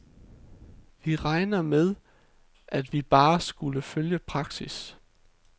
Vi regnede med, at vi bare skulle følge praksis.